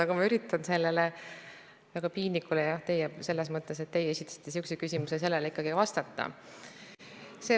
Aga ma üritan sellele väga piinlikule küsimusele – jah, selles mõttes, et teie esitasite sihukese küsimuse – ikkagi vastata.